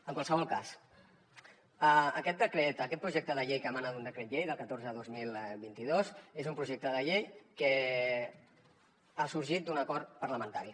en qualsevol cas aquest decret aquest projecte de llei que emana d’un decret llei del catorze dos mil vint dos és un projecte de llei que ha sorgit d’un acord parlamentari